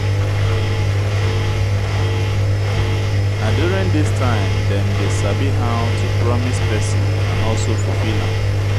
na during this time dem de sabi how to promise persin and also fulfill am